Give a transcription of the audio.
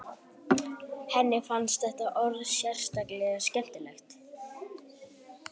Henni fannst þetta orð sérstaklega skemmtilegt.